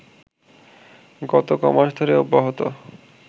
গত কমাস ধরে অব্যাহত